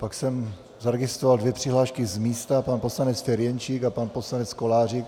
Pak jsem zaregistroval dvě přihlášky z místa - pan poslanec Ferjenčík a pan poslanec Kolářík.